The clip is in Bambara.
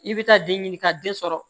I bɛ taa den ɲini ka den sɔrɔ